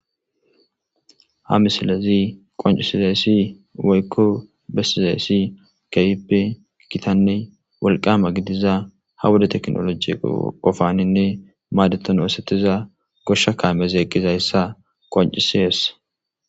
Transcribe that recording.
ha misilezi qoncisizayssi woykko bessizayssi kayipe kitanne walqama gidiza ha woda teknoloji qofaninne maadeton woosetiza goshsha kaamezi eqqizayssa qoncisihessa